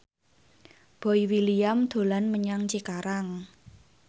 Boy William dolan menyang Cikarang